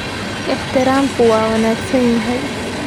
Ixtiraamku waa wanaagsan yahay.